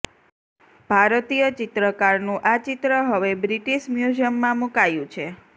ભારતીય ચિત્રકારનું આ ચિત્ર હવે બ્રિટીશ મ્યુઝિયમ માં મુકાયું છે